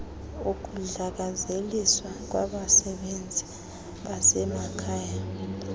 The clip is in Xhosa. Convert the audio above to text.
ukudlakazeliswa kwabasebenzi basemakhaya